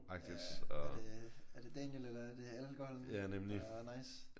Ja er det er det Daniel eller er det alkoholen der er nice?